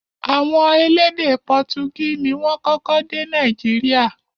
Àwọn elédè pọtugí ni wọ́n kọ́kọ́ dé Nàìjíríà